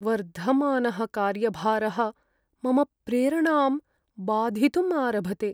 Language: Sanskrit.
वर्धमानः कार्यभारः मम प्रेरणां बाधितुम् आरभते।